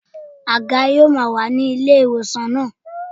Àga yóò máa wà ní ilé ìwòsàn náà.